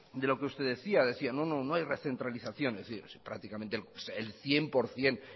de lo que usted decía usted decía no no no hay recentralización es prácticamente el cien por ciento